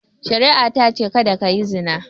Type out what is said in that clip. Shari'a ta ce "Kada ka yi zina!"